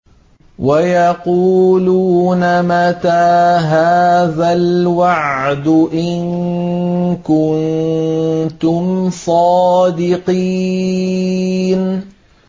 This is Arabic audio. وَيَقُولُونَ مَتَىٰ هَٰذَا الْوَعْدُ إِن كُنتُمْ صَادِقِينَ